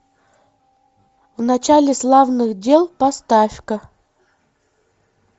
в начале славных дел поставь ка